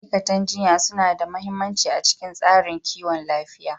Ma'aikatan jinya suna da mahimmanci a cikin tsarin kiwon lafiya.